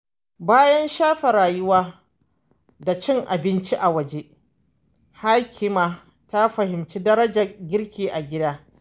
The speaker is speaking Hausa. Bayan shafe rayuwa da cin abinci a waje, Hakima ta fahimci darajar girki a gida.